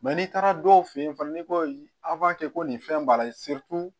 n'i taara dɔw fɛ yen fana n'i ko a kɛ ko nin fɛn b'a la